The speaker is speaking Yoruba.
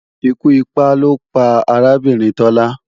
Ikú ipá ló pa arábìnrin Tọ́lá